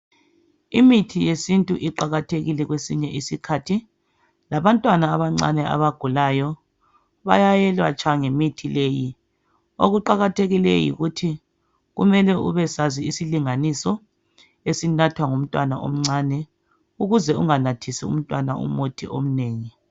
Imithi yesintu iqakathekile kwesinye isikhathi labantwna abancane abagulayo bayayelatshwa ngemithi leyi, okuqakathekileyo yikuthi kumele ubesazi isilinganiso esinathwa ngumntwana omncane ukuze unganathisi umntwana umuthi omnengi.